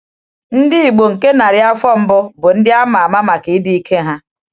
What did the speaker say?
Ndị Igbo nke narị afọ mbụ bụ ndị a ma ama maka ịdị ike ha.